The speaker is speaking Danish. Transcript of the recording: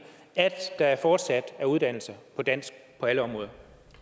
at der fortsat er uddannelser på dansk på alle områder